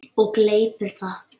Og gleypir það.